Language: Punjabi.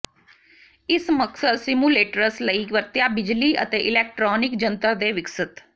ਇਸ ਮਕਸਦ ਸਿਮੁਲੇਟਰਸ ਲਈ ਵਰਤਿਆ ਬਿਜਲੀ ਅਤੇ ਇਲੈਕਟ੍ਰਾਨਿਕ ਜੰਤਰ ਦੇ ਵਿਕਸਤ